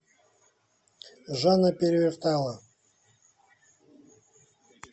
жанна перевертайло